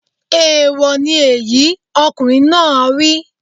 Èèwọ̀ ni èyí! Ọkùnrin náà á wí.